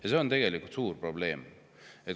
Aga see on tegelikult suur probleem.